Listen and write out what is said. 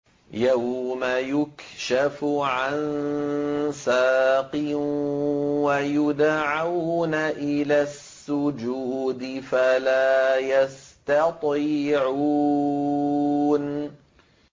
يَوْمَ يُكْشَفُ عَن سَاقٍ وَيُدْعَوْنَ إِلَى السُّجُودِ فَلَا يَسْتَطِيعُونَ